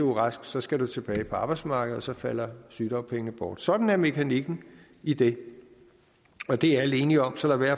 er rask så skal man tilbage på arbejdsmarkedet og så falder sygedagpengene bort sådan er mekanikken i det og det er alle enige om så lad være